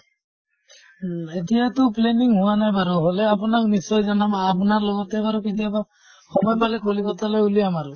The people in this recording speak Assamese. ন এতিয়াটো planning হোৱা নাই বাৰু, হʼলে আপোনাক নিশ্চয় জনাম। আপোনাৰ লগতে বাৰু কেতিয়াবা সময় পালে কলকত্তালৈ ওলিয়াম আৰু